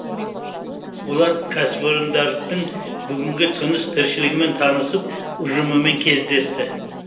олар кәсіпорындардың бүгінгі тыныс тіршілігімен танысып ұжымымен кездесті